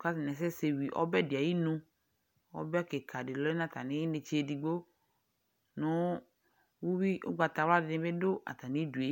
ka atini asɛsɛ, wui ɔbɛ di ayinu Ɔbɛ kika di lɛnu atami inétché édigbo Nu uwui ugbata wla di bi du atami duë